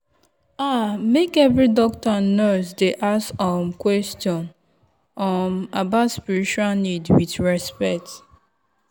ah make every doctor and nurse dey ask um question um about spiritual need with respect.